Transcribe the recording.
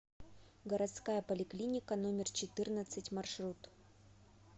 городская поликлиника номер четырнадцать маршрут